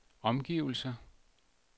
omgivelser